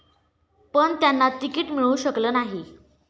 पण त्यांना तिकीट मिळू शकलं नाही.